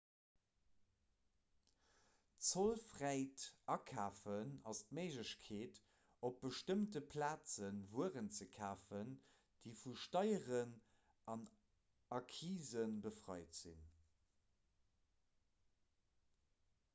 zollfräit akafen ass d'méiglechkeet op bestëmmte plaze wueren ze kafen déi vu steieren a accisen befreit sinn